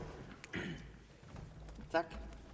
er